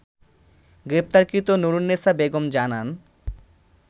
গ্রেপ্তারকৃত নূরুন্নেসা বেগম জানান